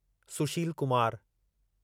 Sushil Kumar